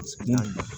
Naamu